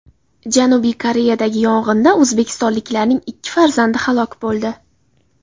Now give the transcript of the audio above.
Janubiy Koreyadagi yong‘inda o‘zbekistonliklarning ikki farzandi halok bo‘ldi.